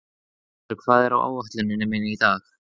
Greipur, hvað er á áætluninni minni í dag?